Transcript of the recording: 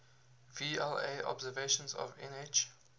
vla observations of nh